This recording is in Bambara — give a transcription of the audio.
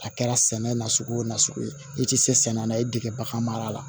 A kɛra sɛnɛ na sugu wo nasugu ye i ti se sɛnɛ n'a ye i dege bagan mara la